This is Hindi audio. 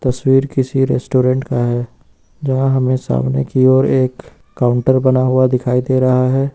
तस्वीर किसी रेस्टोरेंट का है जहाँ हमे सामने की ओर एक काउंटर बना हुआ दिखाई दे रहा है।